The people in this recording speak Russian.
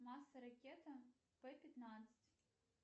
масса ракеты п пятнадцать